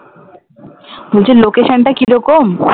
বলছি location টা কিরকম?